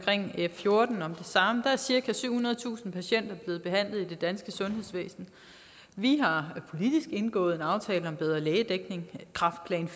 f fjorten om det samme er cirka syvhundredetusind patienter blevet behandlet i det danske sundhedsvæsen vi har politisk indgået en aftale om bedre lægedækning kræftplan